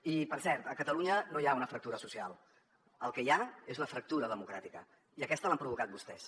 i per cert a catalunya no hi ha una fractura social el que hi ha és una fractura democràtica i aquesta l’han provocat vostès